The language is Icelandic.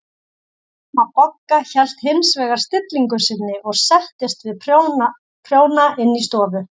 Amma Bogga hélt hins vegar stillingu sinni og settist við prjóna inn í stofu.